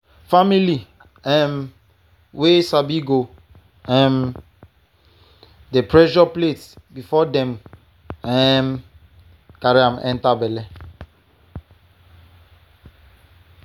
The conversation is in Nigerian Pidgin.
family um wey sabi go um dey measure plate before dem um carry am enter belle.